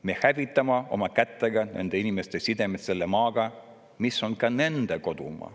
Me hävitame oma kätega nende inimeste sidemeid selle maaga, mis on ka nende kodumaa.